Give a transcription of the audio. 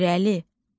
İrəli.